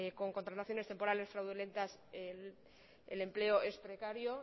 con contrataciones temporales fraudulentas el empleo es precario